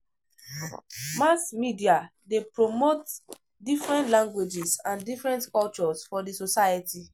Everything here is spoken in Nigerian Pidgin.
Mass media de promote different languages and different cultures for di society